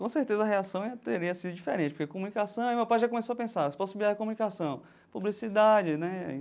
Com certeza, a reação teria sido diferente, porque comunicação... Aí meu pai já começou a pensar, se comunicação, publicidade, né?